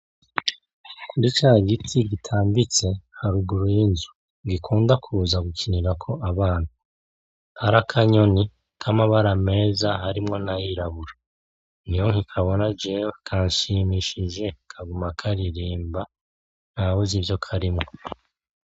Kuricagiti gitambitse haruguru yinzu gikunda kuza gukinirako abana harakanyoni kamabara meza harimwo nayirabura niho nkikabona jewe kanshimishije ntawuzi ivyo karimwo.